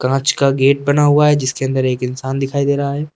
कांच का गेट बना हुआ है जिसके अंदर एक इंसान दिखाई दे रहा है।